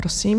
Prosím.